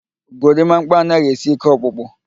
Gorimakpa anaghị esi ike ọkpụkpụ